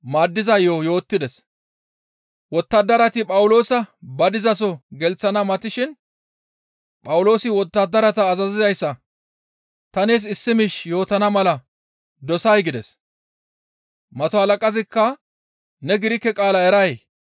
Wottadarati Phawuloosa ba dizaso gelththana matishin Phawuloosi wottadarata azazizayssa, «Ta nees issi miish yootana mala dosay?» gides. Mato halaqazikka, «Ne Girike qaala eray?